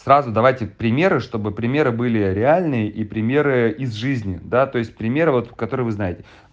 сразу давайте примеры чтобы примеры были реальные и примеры из жизни да то есть примеры вот которые вы знаете